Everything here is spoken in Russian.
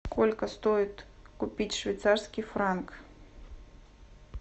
сколько стоит купить швейцарский франк